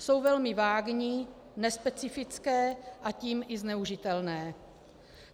Jsou velmi vágní, nespecifické, a tím i zneužitelné.